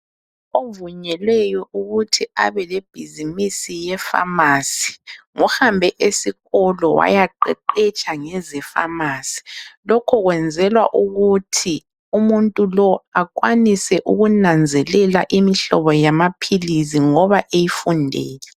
Ovunyelweyo ukuthi abelebhizimisi yefamasi, ngohambe esikolo wayaqeqetsha ngeze pharmacy. Lokho kwenzelwa ukuthi umuntu lo akwanise ukunanzelela imihlobo yamaphilisi ngoba eyifundele.